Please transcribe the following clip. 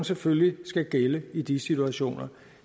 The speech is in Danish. selvfølgelig skal gælde i de situationer